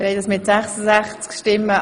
Abstimmung (Ziff.